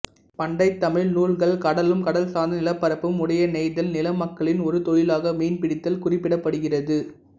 பண்டைத் தமிழ் நூல்கள் கடலும் கடல் சார்ந்த நிலப்பரப்பும் உடையநெய்தல் நில மக்களின் ஒரு தொழிலாக மீன் பிடித்தல் குறிப்பிடப்படுகிறது